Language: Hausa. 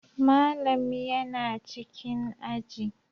Malam yana cikin aji